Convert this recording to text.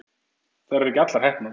Þær eru ekki allar heppnar.